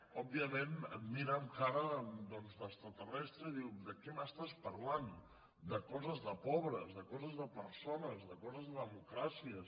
òbviament et mira amb cara doncs d’extraterrestre i et diu de què m’estàs parlant de coses de pobres de coses de persones de coses de democràcies